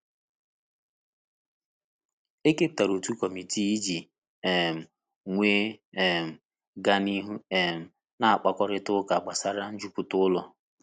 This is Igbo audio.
E keputara otu kọmitii i ji um wee um ga n'ihu um na mkpakorịta ụka gbasara njupụta ụlọ.